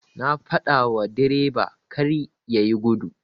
Na fadawa direba karya yi gudu.